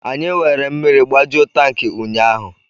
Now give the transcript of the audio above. Anyị were mmiri gbajuo tankị ụnyaahụ